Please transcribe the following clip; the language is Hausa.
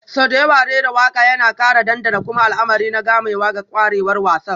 Sau da yawa rera waƙa yana ƙara ɗanɗana kuma al'amari na gamayya ga ƙwarewar wasan,